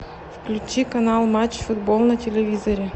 включи канал матч футбол на телевизоре